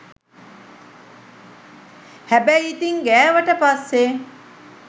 හැබැයි ඉතින් ගෑවට පස්සේ